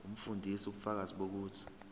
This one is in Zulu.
umfundisi ubufakazi bokuthi